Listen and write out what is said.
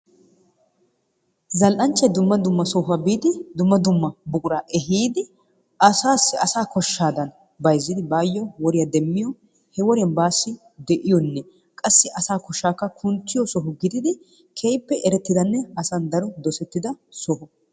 Zal"anchchay dumma dumma sohuwaa biidi dumma dumma buquraa eehiidi asaasi asaa kooshshaadan bayzziidi baayoo woriyaa demmiyoo he woriyaan baassi de'iyoonne qassi asaa koshshaakka kunttiyoo soho giididi keehippe asan erettidanne dosettida soho.